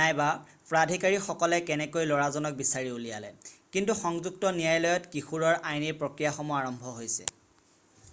নাইবা প্ৰাধিকাৰীসকলে কেনেকৈ লৰাজনক বিচাৰি উলিয়ালে কিন্তু সংযুক্ত ন্যায়ালয়ত কিশোৰৰ আইনী প্ৰক্ৰিয়াসমূহ আৰম্ভ হৈছে